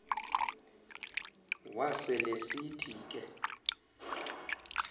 wasel esithi ke